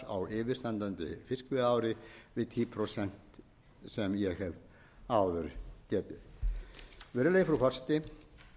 á yfirstandandi fiskveiðiári við tíu prósent sem ég hef áður getið virðulega frú forseti ég